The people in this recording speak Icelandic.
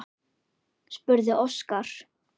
spurði Óskar.